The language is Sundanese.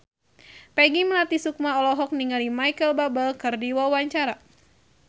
Peggy Melati Sukma olohok ningali Micheal Bubble keur diwawancara